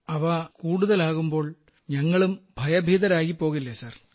അവ കൂടുതലാകുമ്പോൾ ഞങ്ങളും ഭയഭീതരായിപ്പോകില്ലേ സർ